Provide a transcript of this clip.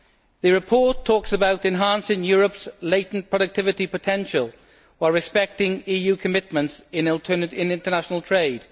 The report talks about enhancing Europe's latent productivity potential, while respecting EU commitments in international trade.